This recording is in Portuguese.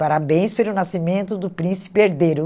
Parabéns pelo nascimento do príncipe herdeiro.